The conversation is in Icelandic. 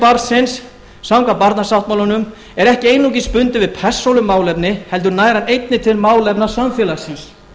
barnsins samkvæmt barnasáttmálanum er ekki einungis bundinn við persónumálefni heldur nær hann einnig til málefna samfélagsins